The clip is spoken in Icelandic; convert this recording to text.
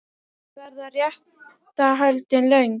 En verða réttarhöldin löng?